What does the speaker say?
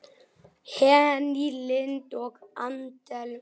Henný Lind og Adel Brimir.